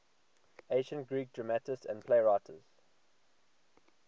ancient greek dramatists and playwrights